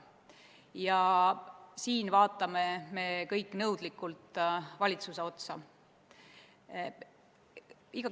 Ja siinkohal vaatame me kõik nõudlikult valitsuse otsa.